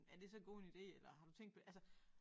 Er det så god en ide eller har du tænkt på altså